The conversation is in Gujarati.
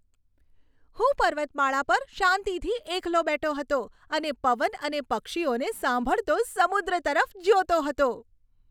હું પર્વતમાળા પર શાંતિથી એકલો બેઠો હતો અને પવન અને પક્ષીઓને સાંભળતો સમુદ્ર તરફ જોતો હતો.